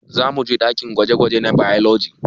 Zamuje ɗakin gwaje-gwaje na bailoji